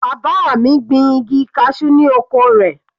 Bàbá mi gbin igi cashew ni oko rẹ̀.